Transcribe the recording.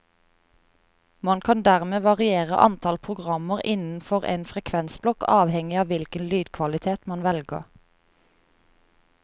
Man kan dermed variere antall programmer innenfor en frekvensblokk avhengig av hvilken lydkvalitet man velger.